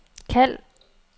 kald